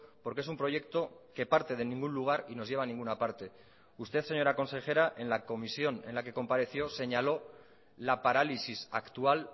porque es un proyecto que parte de ningún lugar y nos lleva a ninguna parte usted señora consejera en la comisión en la que compareció señaló la parálisis actual